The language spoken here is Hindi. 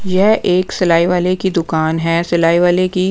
ये एक सिलाई वाले की दुकान हैं सिलाई वाले की--